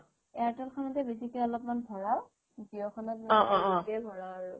airtel খনতে বেছিকে অলপ ভৰাও jio